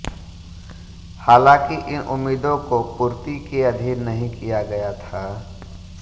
हालांकि इन उम्मीदों को पूर्ति के अधीन नहीं किया गया था